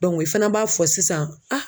i fana b'a fɔ sisan